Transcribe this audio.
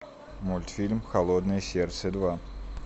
мультфильм холодное сердце два